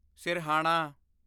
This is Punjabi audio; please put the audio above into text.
ਸਿਰਹਾਣਾ